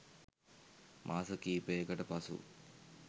මාස කීපයකට පසු